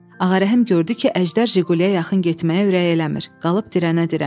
Ağarəhim gördü ki, Əjdər Jiquliyə yaxın getməyə ürəyi eləmir, qalıb dirənə-dirənə.